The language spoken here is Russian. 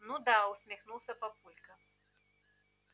ну да усмехнулся папулька